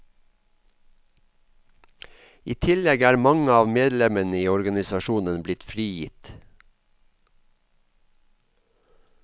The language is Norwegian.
I tillegg er mange av medlemmene i organisasjonen blitt frigitt.